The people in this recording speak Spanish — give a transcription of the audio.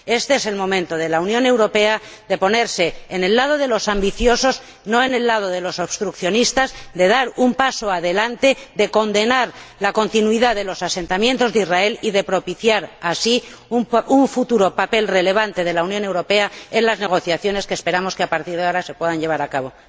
Este es el momento de la Unión Europea, de ponerse en el lado de los ambiciosos, no en el lado de los obstruccionistas, de dar un paso adelante, de condenar la continuidad de los asentamientos de Israel y de propiciar así un futuro papel relevante de la Unión Europea en las negociaciones que esperamos que, a partir de ahora, se puedan llevar a cabo.